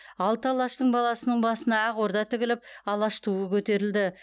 алты алаштың баласының басына ақ орда тігіліп алаш туы көтерілді